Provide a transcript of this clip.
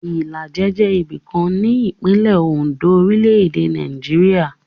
Ìlàjẹ jẹ́ ibìkan ní ìpínlẹ̀ Oǹdó, orílẹ̀-èdè Nàìjíríà.